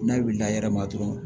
N'a wulila yɛrɛ ma dɔrɔn